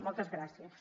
moltes gràcies